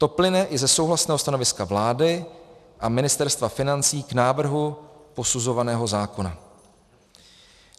To plyne i ze souhlasného stanoviska vlády a Ministerstva financí k návrhu posuzovaného zákona.